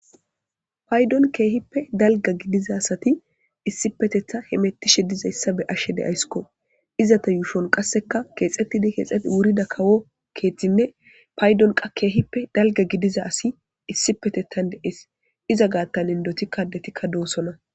paydon keehippe dalga gidiza asati issipetetha he mettishe dizayssa be ashshe de ayssko iza ta yuushon qasseka keexettidi keexet wurida kawo keeththinne paydon qa keehippe dalga gidiza asi issi petettan deees iza gaattan indotikka detikka doosonna